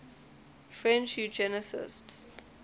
french eugenicists